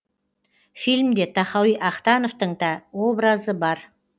фильмде тахауи ахтановтың та образы бар